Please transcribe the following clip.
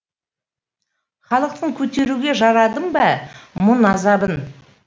халықтың көтеруге жарадым ба мұң азабын